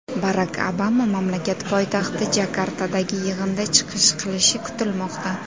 Barak Obama mamlakat poytaxti Jakartadagi yig‘inda chiqish qilishi kutilmoqda.